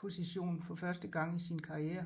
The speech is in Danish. position for første gang i sin karriere